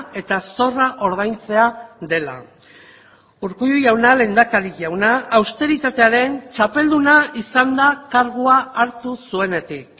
eta zorra ordaintzea dela urkullu jauna lehendakari jauna austeritatearen txapelduna izan da kargua hartu zuenetik